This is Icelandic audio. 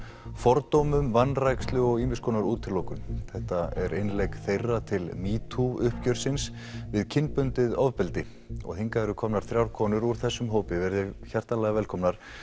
fordómum vanrækslu og útilokun þetta er innlegg þeirra til metoo uppgjörsins við kynbundið ofbeldi hingað eru komnar þrjár konur úr þessum hópi veriði hjartanlega velkomnar